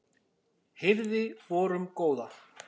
hirði vorum góða